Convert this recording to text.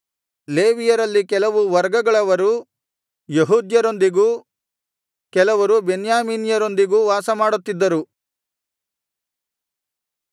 ಲೇವಿಯರಲ್ಲಿ ಕೆಲವು ವರ್ಗಗಳವರು ಯೆಹೂದ್ಯರೊಂದಿಗೂ ಕೆಲವರು ಬೆನ್ಯಾಮೀನ್ಯರೊಂದಿಗೂ ವಾಸಮಾಡುತ್ತಿದ್ದರು